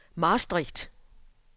Maastricht